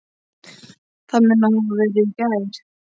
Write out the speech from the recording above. Það mun hafa verið í gær.